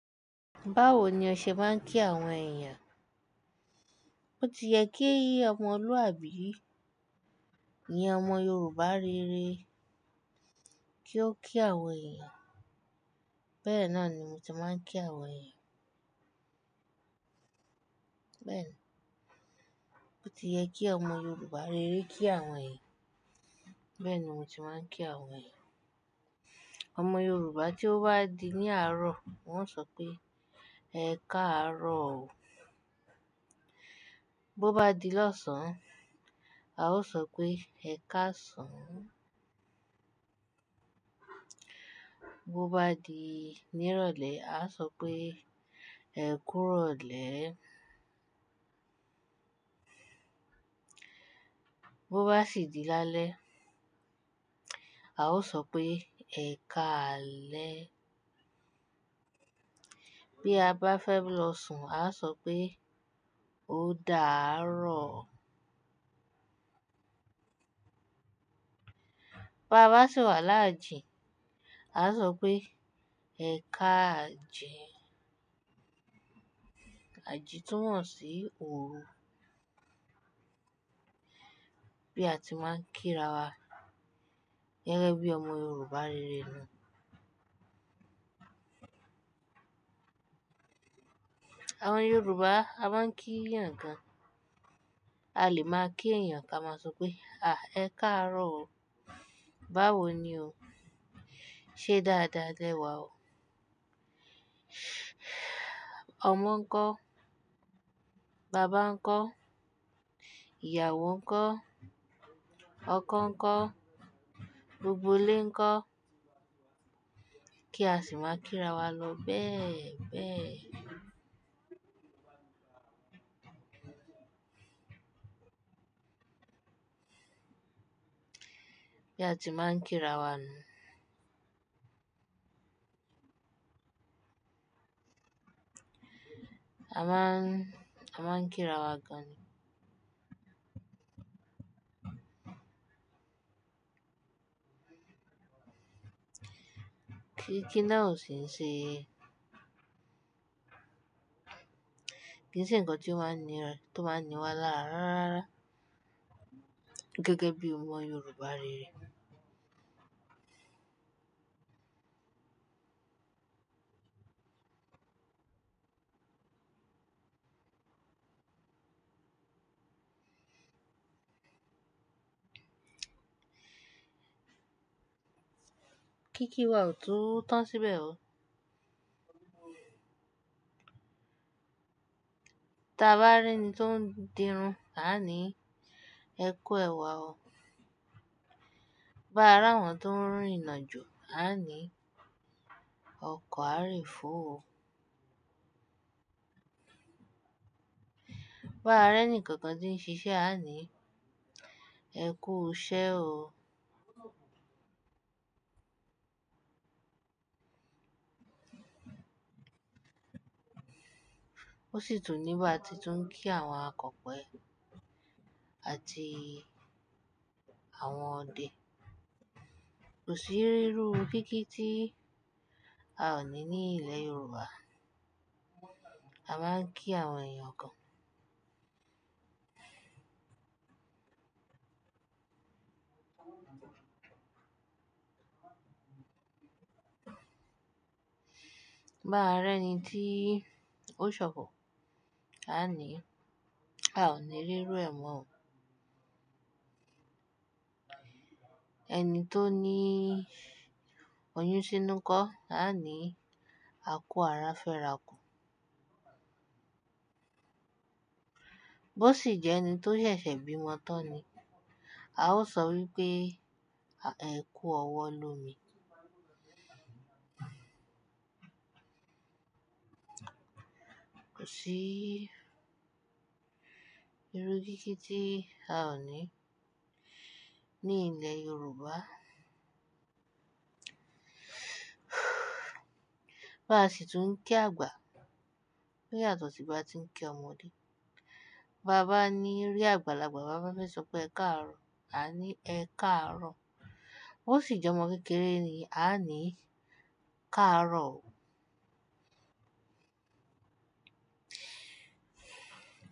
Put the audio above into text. Báwo ni ọṣẹ máa ń kí àwọn èèyàn? Ó ti yẹ kí ọmọlúwàbí, ni ọmọ Yorùbá rere kí ó kí àwọn èèyàn. Bẹ́ẹ̀ náà ni mo ti máa ń kí àwọn èèyàn. Bẹ́ẹ̀ ni. Ó ti yẹ kí ọmọ Yorùbá rere kí àwọn èèyàn. Bẹ́ẹ̀ ni mo ti máa ń kí àwọn èèyàn. Ọmọ Yorùbá tí ó bá di ní àárọ̀, wọn ò sọ pé "Ẹ káàárọ̀ o." Bo bá di lọ́sàn án, a ó sọ pé "Ẹ káàsán." Bo bá di ní ìrọ̀lẹ́ a sọ pé "Ẹ kú ìrọ̀lẹ́." Bo bá sì di lálẹ́, a ó sọ pé "Ẹ káalẹ." Bí a bá fẹ́ lọ sùn a sọ pé "Ó dà á rọ̀ o." Ba bá sì wà láàjì, a sọ pé "Ẹ káàjì." Àjì tún wọ́n sí òru. Bí a ti máa ń kírawa, gẹ́gẹ́ bí ọmọ Yorùbá rere náà. Àwọn Yorùbá, a máa ń kí èèyàn gan. A lè máa kí èèyàn kí a máa sọ pé "Àh ẹ káàárọ̀ o." "Báwo ni o?" "Ṣé dáadáa lẹ́wà o?" Ọmọ ńkọ́, bàbá ńkọ́, ìyàwó ńkọ́, ọkọ ńkọ́, gbogbo ilé ńkọ́. Kí á sì máa kírawọ lọ bẹ́ẹ̀ bẹ́ẹ̀. Bí a ti máa ń kírawọ nu. A máa ń, a máa ń kírawọ gan. Kí, kí náà ó ṣe ń ṣe. Kí ṣe ǹ kan tí wọ́n nira, to ma n ni wá láàárọ̀. Gẹ́gẹ́ bí ọmọ Yorùbá rere. Kíkí wa ò tu tán síbẹ̀ o. Ti a bá rí ẹni tó ń dirun, a a ní, "Ẹ kú ẹ̀wà o." Bá ra wọ́n tó ń rin ìnàjú, a a ní, "Ọkọ̀ a rí ìfúu o." Bá ra ẹni kankan tí ń ṣiṣẹ́ a a ní, "Ẹ kú iṣẹ́ o." Ó sì tún ní bá ti tún ń kí àwọn akọ̀pẹ àti àwọn ọdẹ. Kò sí rírú kíkí tí a ò ní ní ilẹ̀ Yorùbá. A máa ń kí àwọn èèyàn kan. Bá ra ẹni tí ó ṣọpọ̀, a a ní, "A ò ní rírú ẹ̀wọ̀n o." Ẹni tó ní oyún sínú kọ́, a a ní, "A kú ara fẹ́rakù." Bo sì jẹ́ ẹni tó ṣẹ̀ṣẹ̀ bímọ tán ni, a ó sọ wípé, "Ẹ kú ọwọ́ lómi." Kò sí írú kíkí tí a ò ní ní ilẹ̀ Yorùbá. Bá sì tún ń kí àgbà. Ó yàtọ̀ sí bá ti ń kí ọmọdé. Bá bá ní rí àgbàlagbà, bá fẹ́ sọ pé "Ẹ káàárọ̀ o," a a ní, "Ẹ káàárọ̀ o." Bo sì jẹ́ ọmọ kékeré ni, a a ní, "Káàárọ̀ o."